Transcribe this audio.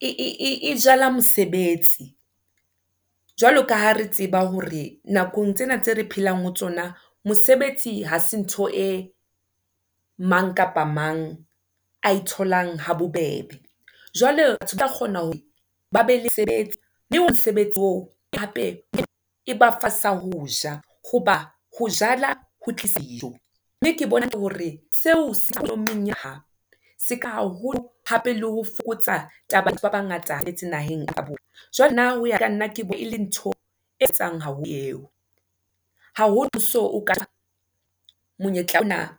e jala mosebetsi. Jwalo kaha re tseba hore nakong tsena tse re phelang ho tsona, mosebetsi ha se ntho e mang kapa mang a e tholang ha bobebe, jwale ke tla kgona hore ba be le sebetsa mosebetsi oo. Hape e ba fa sa ho ja hoba ho jala, ho tlisa dijo, mme ke bona hore seo se seka haholo hape le ho fokotsa ya batho ba bangata a metse naheng ka bona. Jwale nna hoya ka nna ke bona e le ntho e eo haholo so, o ka monyetla ona